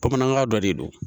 Bamanankan dɔ de don